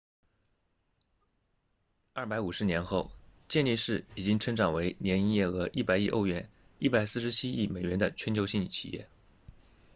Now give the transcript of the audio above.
250年后健力士已经成长为年营业额100亿欧元147亿美元的全球性企业